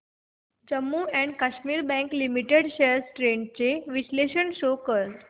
Jammu and Kashmir bank limited shares trends चे विश्लेषण show कर